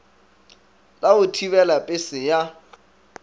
la go thibela pese ya